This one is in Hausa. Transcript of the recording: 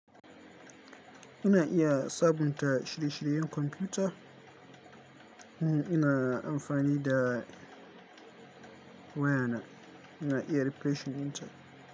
Ina iya sabunta shirye-shiryen kwamfuta. In ina amfani da wayana. Ina iya rereshing dinta.